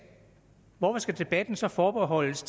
hvorfor skal debatten så forbeholdes